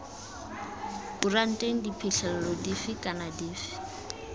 kuranteng diphitlhelelo dife kana dife